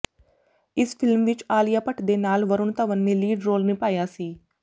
ਇਸ ਫਿਲਮ ਵਿੱਚ ਆਲੀਆ ਭੱਟ ਦੇ ਨਾਲ ਵਰੁਣ ਧਵਨ ਨੇ ਲੀਡ ਰੋਲ ਨਿਭਾਇਆ ਸੀ